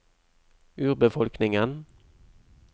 urbefolkningen